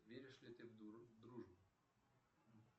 веришь ли ты в дружбу